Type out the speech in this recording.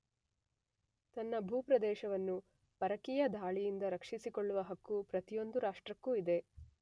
ತನ್ನ ಭೂಪ್ರದೇಶವನ್ನು ಪರಕೀಯ ಧಾಳಿಯಿಂದ ರಕ್ಷಿಸಿಕೊಳ್ಳುವ ಹಕ್ಕು ಪ್ರತಿಯೊಂದು ರಾಷ್ಟ್ರಕ್ಕೂ ಇದೆ.